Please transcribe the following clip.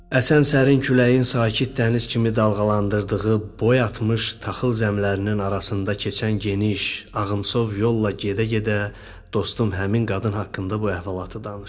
Əsən sərin küləyin sakit dəniz kimi dalğalandırdığı, boy atmış taxıl zəmilərinin arasında keçən geniş, ağımtılov yolla gedə-gedə dostum həmin qadın haqqında bu əhvalatı danışdı.